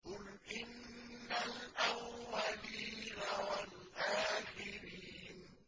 قُلْ إِنَّ الْأَوَّلِينَ وَالْآخِرِينَ